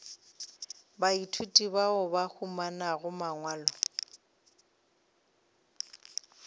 baithuti bao ba humanago mangwalo